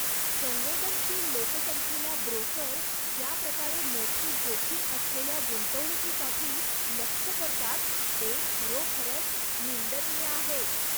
संवेदनशील लोकसंख्येला ब्रोकर ज्या प्रकारे मोठी जोखीम असलेल्या गुंतवणुकीसाठी लक्ष्य करतात ते खरोखरच निंदनीय आहे.